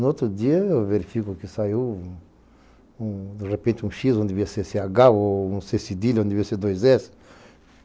No outro dia eu verifico que saiu, de repente, um X onde devia ser ch ou um c cedilha onde devia ser dois S.